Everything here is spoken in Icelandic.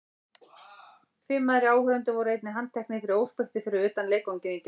Fimm aðrir áhorfendur voru einnig handteknir fyrir óspektir fyrir utan leikvanginn í gær.